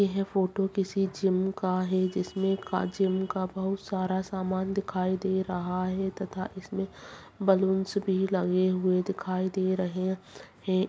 यह फोटो किसी जिम का है जिसमें का जिम का बहुत सारा समान दिखाई दे रहा है तथा इसमें बैलून्स भी लगे हुए दिखाई दे रहे हैं।